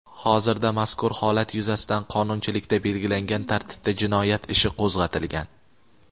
Hozirda mazkur holat yuzasidan qonunchilikda belgilangan tartibda jinoyat ishi qo‘zg‘atilgan.